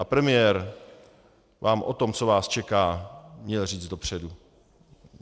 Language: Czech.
A premiér vám o tom, co vás čeká, měl říct dopředu.